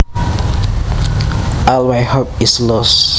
All my hope is lost